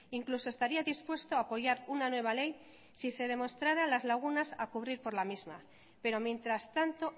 incluso estaría dispuesto a apoyar una nueva ley si se demostrara las lagunas a cubrir por la misma pero mientras tanto